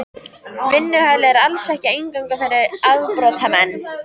Vinnuhælið er. alls ekki eingöngu fyrir afbrotamenn.